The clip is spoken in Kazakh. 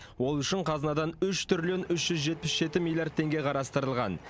ол үшін қазынадан үш триллион үш жүз жетпіс жеті миллиард теңге қарастырылған